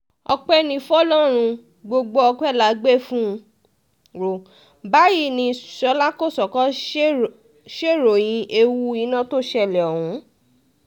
ọpẹ́ ní fọlọ́run gbogbo ọpẹ́ la gbé fún un o báyìí ní ṣọlá kọ́sókó ṣèròyìn ewu iná tó ṣẹlẹ̀ ọ̀hún